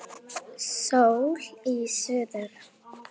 Sól í suðri.